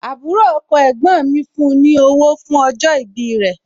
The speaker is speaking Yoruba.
Àbúrò ọkọ ẹ̀gbọ́n mi fún ní owó fún ní owó fún ọjọ́ ìbí rẹ̀